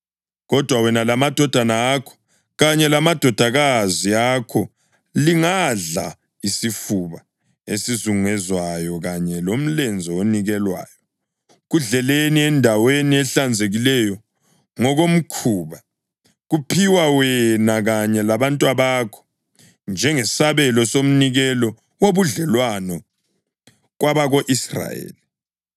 Kodwa wena lamadodana akho kanye lamadodakazi akho lingadla isifuba esazunguzwayo kanye lomlenze onikelweyo. Kudleleni endaweni ehlanzekileyo ngokomkhuba; kuphiwe wena kanye labantwabakho njengesabelo somnikelo wobudlelwano kwabako-Israyeli.